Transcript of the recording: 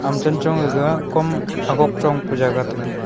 aga chenchong aga kom agok chongpe jaga tega.